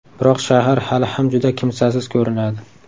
Biroq shahar hali ham juda kimsasiz ko‘rinadi.